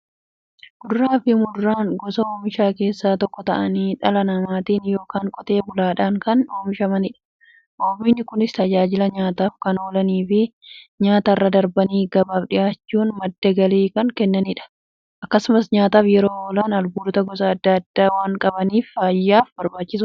Kuduraafi muduraan gosa oomishaa keessaa tokko ta'anii, dhala namaatin yookiin Qotee bulaadhan kan oomishamaniidha. Oomishni Kunis, tajaajila nyaataf kan oolaniifi nyaatarra darbanii gabaaf dhiyaachuun madda galii kan kennaniidha. Akkasumas nyaataf yeroo oolan, albuuda gosa adda addaa waan qabaniif, fayyaaf barbaachisoodha.